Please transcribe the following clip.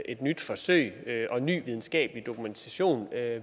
et nyt forsøg og at ny videnskabelig dokumentation